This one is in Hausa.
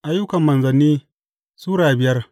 Ayyukan Manzanni Sura biyar